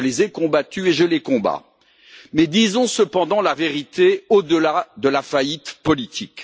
Je les ai combattus et je les combats, mais disons cependant la vérité au delà de la faillite politique.